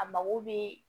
A mago bɛ